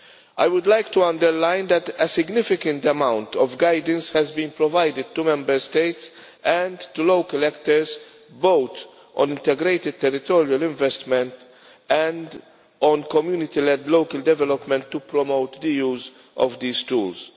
I would like to underline that a significant amount of guidance has been provided to Member States and to local actors, both on integrated territorial investment and on community led local development, to promote the use of these tools.